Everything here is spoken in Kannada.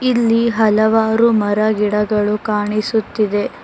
ಇಲ್ಲಿ ಹಲವಾರು ಮರ ಗಿಡಗಳು ಕಾಣಿಸುತ್ತಿದೆ.